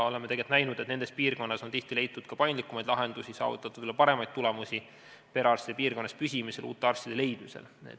Oleme tegelikult näinud, et nendes piirkondades on tihti leitud ka paindlikumaid lahendusi ning saavutatud paremaid tulemusi perearstide piirkonnas püsimisel ja uute arstide leidmisel.